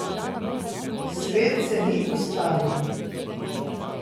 Svet se ni ustavil.